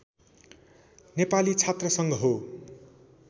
नेपाली छात्र सङ्घ हो